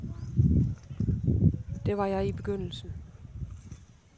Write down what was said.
Det var jeg i begyndelsen.